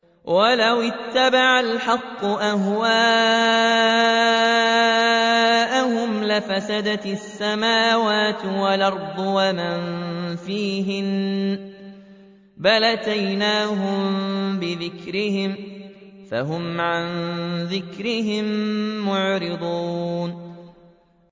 وَلَوِ اتَّبَعَ الْحَقُّ أَهْوَاءَهُمْ لَفَسَدَتِ السَّمَاوَاتُ وَالْأَرْضُ وَمَن فِيهِنَّ ۚ بَلْ أَتَيْنَاهُم بِذِكْرِهِمْ فَهُمْ عَن ذِكْرِهِم مُّعْرِضُونَ